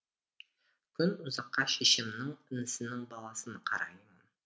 күн ұзаққа шешемнің інісінің баласын қараймын